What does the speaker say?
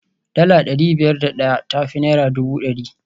Dala dari biyar da daya ta fi naira dubu dari